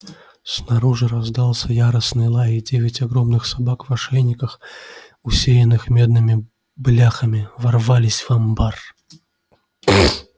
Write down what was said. снаружи раздался яростный лай и девять огромных собак в ошейниках усеянных медными бляхами ворвались в амбар